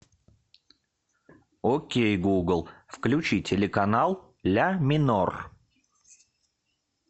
окей гугл включи телеканал ля минор